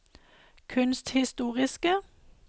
kunsthistoriske